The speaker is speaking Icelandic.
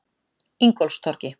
Ingólfstorgi